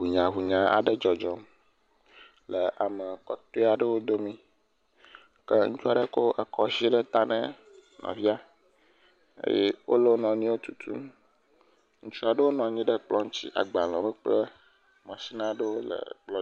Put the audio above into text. Hunyahunya aɖe dzɔdzɔm le ame kɔtɔe aɖewo dome, ke ŋutsua ɖe ekɔ zi ɖe ta ne nɔvia, eye wole wo nɔnɔewo tutum. ŋutsua aɖewo nɔ nyi ɖe kplɔ̃ ŋtsi, agbalẽwo kple matsin aɖewo la pklɔ…